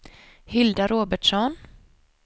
Hilda Robertsson